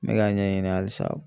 N bɛ ka ɲɛɲini halisa.